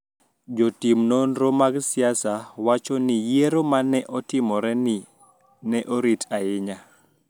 Jotim nonro mag siasa wacho ni yiero ma ne otimoreni ne orit ahinya